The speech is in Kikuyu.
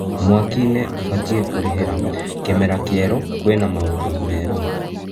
(Mwaki- nĩ ubatiĩ kũrĩ hĩ ra) Kĩ mera kĩ erũ, kwĩ na maũndũ merũ?